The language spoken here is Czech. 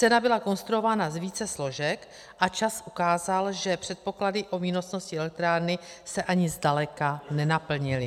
Cena byla konstruována z více složek a čas ukázal, že předpoklady o výnosnosti elektrárny se ani zdaleka nenaplnily.